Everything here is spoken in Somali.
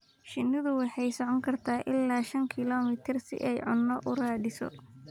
Shinnidu waxay socon kartaa ilaa shan kiiloomitir si ay cunto u raadiso.